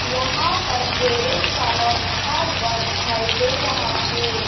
यहाँ पर गैराज वाला लिखा हुआ दिखाई दे रहा है।